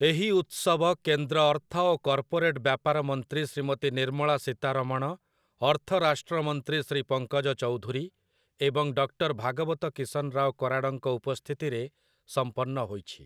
ଏହି ଉତ୍ସବ କେନ୍ଦ୍ର ଅର୍ଥ ଓ କର୍ପୋରେଟ ବ୍ୟାପାର ମନ୍ତ୍ରୀ ଶ୍ରୀମତୀ ନିର୍ମଳା ସୀତାରମଣ, ଅର୍ଥ ରାଷ୍ଟ୍ର ମନ୍ତ୍ରୀ ଶ୍ରୀ ପଙ୍କଜ ଚୌଧୁରୀ ଏବଂ ଡକ୍ଟର ଭାଗବତ କିଶନରାଓ କରାଡଙ୍କ ଉପସ୍ଥିତିରେ ସମ୍ପନ୍ନ ହୋଇଛି ।